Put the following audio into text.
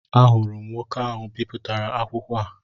Ahụrụ m nwoke ahụ bipụtara akwụkwọ a